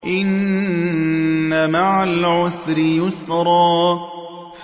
إِنَّ مَعَ الْعُسْرِ يُسْرًا